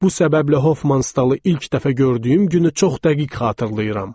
Bu səbəblə Hofmanstalın ilk dəfə gördüyüm günü çox dəqiq xatırlayıram.